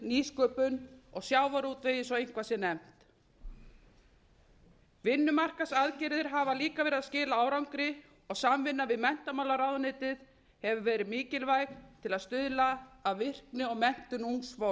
nýsköpun og sjávarútvegi svo eitthvað sé nefnt vinnumarkaðsaðgerðir hafa líka verið að skila árangri og samvinna við menntamálaráðuneytið hefur verið mikilvæg til að stuðla að virkni og menntun ungs fólks